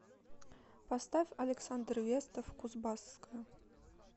поставь александр вестов кузбасская